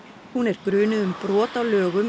hún er grunuð um brot á lögum